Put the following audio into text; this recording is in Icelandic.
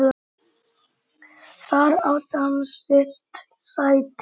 Þar átti hann sitt sæti.